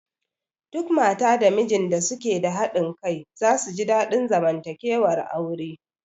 Duk mata da mijin da suke da haɗin kai za su ji daɗin zamantakewar aure